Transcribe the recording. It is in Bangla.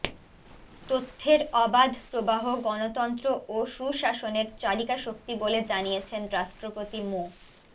তথ্যের অবাধ প্রবাহ গণতন্ত্র ও সুশাসনের চালিকাশক্তি বলে জানিয়েছেন রাষ্ট্রপতি মো